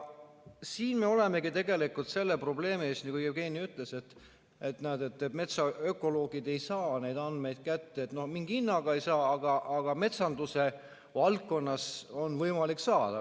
Siin me olemegi tegelikult selle probleemi ees, nagu Jevgeni ütles, et näed, metsaökoloogid ei saa neid andmeid kätte, mingi hinnaga ei saa, aga metsanduse valdkonnas on võimalik saada.